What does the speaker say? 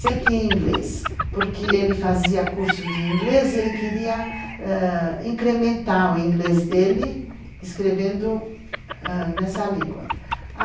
sempre em inglês, porque ele fazia curso de inglês e ele queria incrementar o inglês dele escrevendo nessa língua.